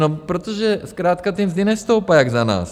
No protože zkrátka ty mzdy nestoupají jak za nás.